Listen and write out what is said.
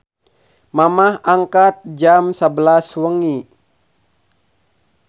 Mamah angkat jam 23.00